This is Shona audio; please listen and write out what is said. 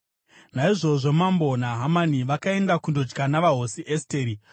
Naizvozvo mambo naHamani vakaenda kundodya navaHosi Esteri,